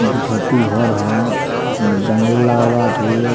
दू छत्ती होर हो अ में जंगला लागल बा आठ गो।